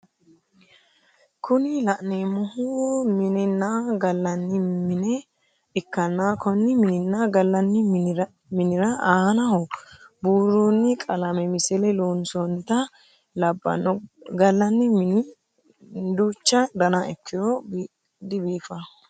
Kuni la'neemmohu minenna galanni mine ikkanna konni mininna galanni minira aanaho buuroni qalame misile loonsoonita labbanno galanni mini ducha dana ikkiro dibiifayoo.